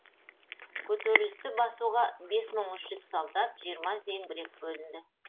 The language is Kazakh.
көтерілісті басуға бес мың үш жүз солдат жиырма зеңбірек бөлінді